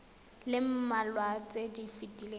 le mmalwa tse di fetileng